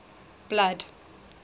blood